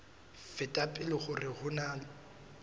feta pele hore ho na